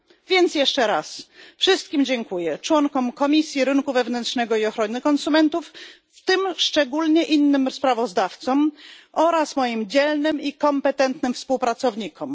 Więc jeszcze raz wszystkim dziękuję członkom Komisji Rynku Wewnętrznego i Ochrony Konsumentów, w tym szczególnie innym sprawozdawcom, oraz moim dzielnym i kompetentnym współpracownikom.